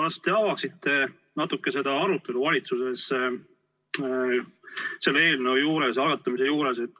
Kas te avaksite natuke seda arutelu valitsuses selle eelnõu algatamise juures?